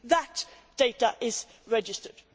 The data is registered.